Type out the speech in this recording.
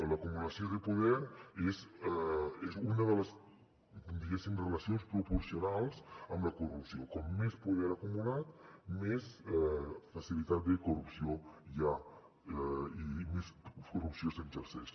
l’acumulació de poder és una de les diguéssim relacions proporcionals amb la corrupció com més poder acumulat més facilitat de corrupció hi ha i més corrupció s’exerceix